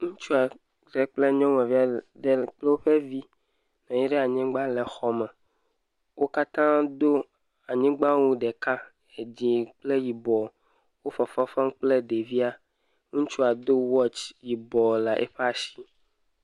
Ŋutsu aɖe kple nyɔnuvi aɖe kple woƒe vi nɔnyi ɖe anyigba le xɔ me. Wo katã do anyigbawu ɖeka, edzi kple yibɔ. Wo fefefem kple ɖevia. Ŋutsua do watsi yibɔ ɖe eƒe asi.